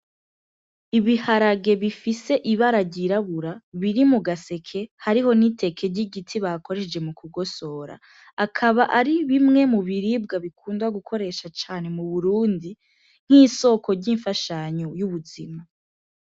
Ibiharage bifise ibara ryirabura biri mu gaseke hariho n'iteke ry'igiti bakoresheje mu kugosora akaba ari bimwemu biribwa bikundwa gukoresha cane mu burundi nk'isoko ry'imfashanyu y'ubuzima.